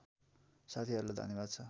साथीहरूलाई धन्यवाद छ